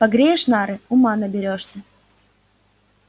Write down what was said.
погреешь нары ума наберёшься